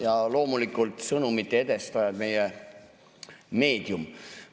Ja loomulikult sõnumite edastajad, meie meedium!